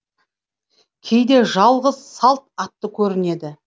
кейде жалғыз салт атты көрінеді